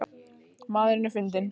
Maðurinn er fundinn